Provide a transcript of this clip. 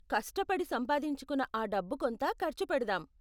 కష్టపడి సంపాదించుకున్న ఆ డబ్బు కొంత ఖర్చు పెడదాం.